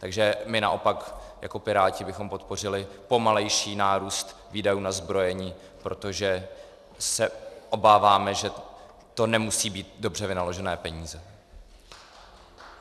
Takže my naopak jako Piráti bychom podpořili pomalejší nárůst výdajů na zbrojení, protože se obáváme, že to nemusí být dobře vynaložené peníze.